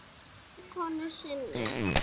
Hjá vinkonu sinni?